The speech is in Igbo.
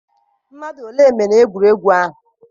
mmadụ ole mere egwuregwu ahụ?